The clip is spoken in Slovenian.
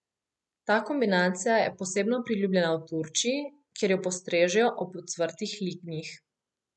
Ta kombinacija je posebno priljubljena v Turčiji, kjer jo postrežejo ob ocvrtih lignjih.